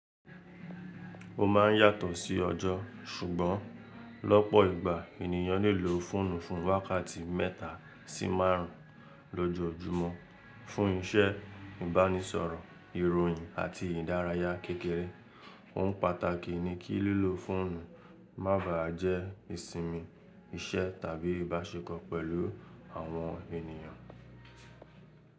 Ó má n yàtọ̀ sí ọjọ́, ṣùgbọ́n lọ́pọ̀ ìgbà ènìyàn lè lo fóònù fún wákàtí mẹ́ta sí márùn ún lọ́jọ́ọ́júmọ́ fún iṣẹ́ ìbánisọ̀rọ̀, ìròyìn àti ìdárayá kékeré. Ohun pàtàkì ni kí lílo fóònù má bà á jẹ́ ìsinmi, iṣẹ́ tàbí ìbáṣekọ̀ pẹ̀lú àwọn ènìyàn.